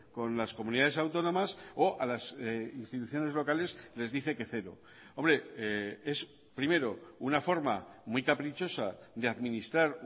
con las comunidades autónomas o a las instituciones locales les dice que cero hombre es primero una forma muy caprichosa de administrar